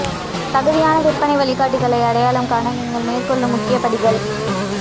தகுதியான விற்பனை வழிகாட்டிகளை அடையாளம் காண நீங்கள் மேற்கொள்ளும் முக்கிய படிகள்